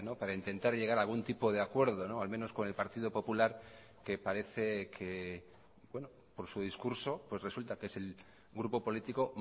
para intentar llegara algún tipo de acuerdo al menos con el partido popular que parece que por su discurso pues resulta que es el grupo político